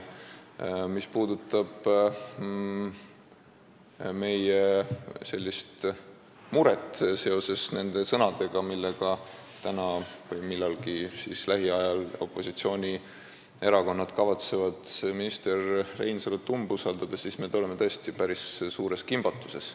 Aga mis puudutab neid sõnu, millega opositsioonierakonnad kavatsevad täna või millalgi lähiajal minister Reinsalut umbusaldada, siis me oleme tõesti päris suures kimbatuses.